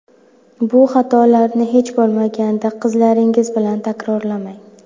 Bu xatolarni hech bo‘lmaganda qizlaringiz bilan takrorlamang.